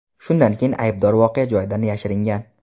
Shundan keyin aybdor voqea joyidan yashiringan.